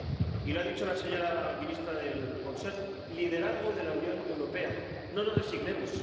Y lo ha dicho la señora ministra del Consejo liderazgo de la Unión Europea. No nos resignemos.